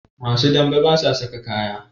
Masu dame basa saka kaya